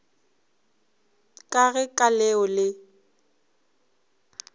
ka ge ka leo le